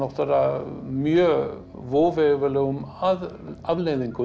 mjög voveiflegum afleiðingum